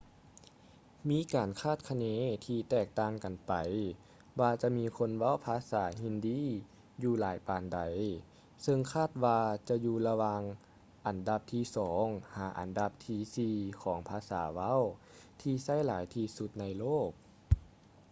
ມີການຄາດຄະເນທີ່ແຕກຕ່າງກັນໄປວ່າຈະມີຄົນເວົ້າພາສາຮິນດີ hindi ຢູ່ຫຼາຍປານໃດ ເຊິ່ງຄາດວ່າຈະຢູ່ລະຫວ່າງອັນດັບທີສອງ ຫາ ອັນດັບທີສີ່ຂອງພາສາເວົ້າທີ່ໃຊ້ຫຼາຍທີ່ສຸດໃນໂລກ